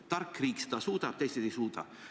Tark riik seda suudab ja teised ei suuda.